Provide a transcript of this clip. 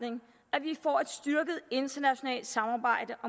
og et styrket internationalt samarbejde